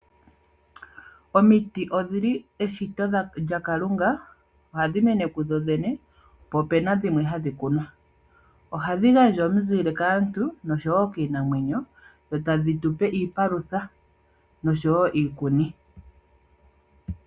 Omiti odhili eshito lyaKalunga oha dhi mene ku dhodhene po opena dhimwe hadhi kunwa, ohadhi gandja omuzile kaantu nosho wo kiinamwenyo dho tadhi tupe iipalutha nosho wo iikuni.